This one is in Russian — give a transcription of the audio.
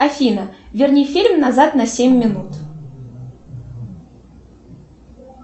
афина верни фильм назад на семь минут